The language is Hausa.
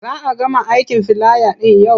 Za a gama aikin filaya ɗin yau.